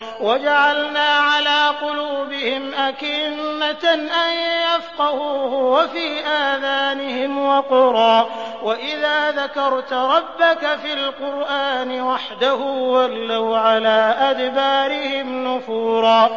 وَجَعَلْنَا عَلَىٰ قُلُوبِهِمْ أَكِنَّةً أَن يَفْقَهُوهُ وَفِي آذَانِهِمْ وَقْرًا ۚ وَإِذَا ذَكَرْتَ رَبَّكَ فِي الْقُرْآنِ وَحْدَهُ وَلَّوْا عَلَىٰ أَدْبَارِهِمْ نُفُورًا